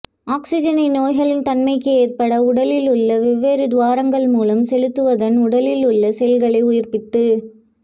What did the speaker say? ஆக்ஸிஸனை நோய்களின் தன்மைக்கு ஏற்பட உடலில் உள்ள வெவ்வேறு துவாரங்கள் மூலம் செலுத்துவதன் உடலில் உள்ள செல்களை உயிா்ப்பித்து